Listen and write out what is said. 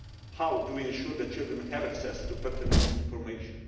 How do we ensure that children have access to pertinent information?